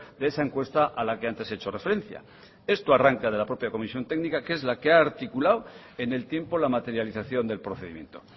de esa encuesta a la que antes he hecho referencia esto arranca de la propia comisión técnica que es la que ha articulado en el tiempo la materialización del procedimiento